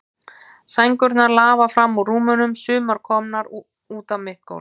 Sængurnar lafa fram úr rúmunum, sumar komnar út á mitt gólf.